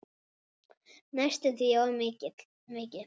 Næstum því of mikill.